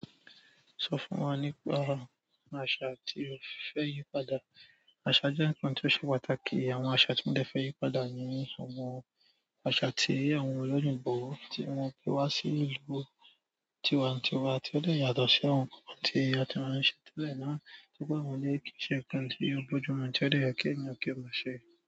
Sọ fún wa nípa àṣà tí o fẹ́ yí padà. Àṣà jẹ́ ǹkan tí ó ṣe pàtàkì. Àwọn àṣà tí mo dẹ fẹ́ yí padà ni àwọn àṣà tí àwọn olóyinbo, tí wọ́n pé wá sí ìlú tiwa n tiwa, tí ó dẹ yàtọ̀ sí àwọn ǹkan tí a ti máa ń ṣe tẹ́lẹ̀ ná. Nítorí pé mo ní kí i ṣe ǹkan tí o bójúmu tí ó dẹ yẹ ki ènìyàn kí o maa ṣe.